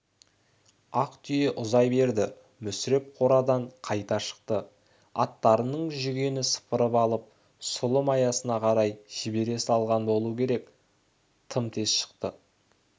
ақ түйе ұзай берді мүсіреп қорадан қайта шықты аттарының жүгенін сыпырып алып сұлы маясына қарай жібере салған болу керек тым тез шықты